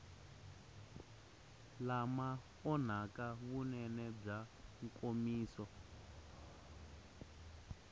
lama onhaka vunene bya nkomiso